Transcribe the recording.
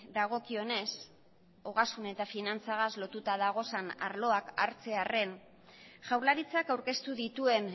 dagokionez ogasun eta finantzagaz lotuta dauden arloak hartzearren jaurlaritzak aurkeztu dituen